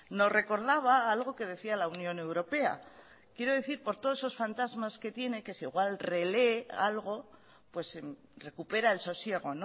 nos recordaba algo que decía la unión europea quiero decir por todos esos fantasmas que tiene que si igual relee algo pues recupera el sosiego